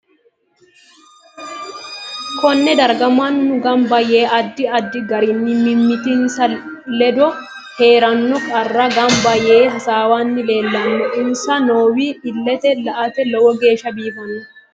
Konne darga mannu ganba yee addi addi garinni mimitinsa kedo heeranno qarra ganbba yee hasaawanni leelanno insa noowi illete la'ate lowo geesha biifano